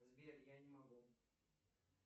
сбер я не могу